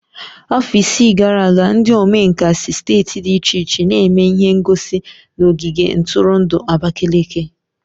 Afọ isii gara aga, ndi omenkà si steeti dị iche iche n'eme ihe ngosi n'ogige ntụrụndụ Abakaliki.